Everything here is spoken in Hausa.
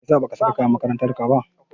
Meyasa ba ka saka kayan makarantar ka ba?